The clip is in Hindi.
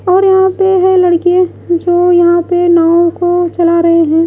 और यहां पे है लड़के जो यहां पे नाव को चला रहे हैं।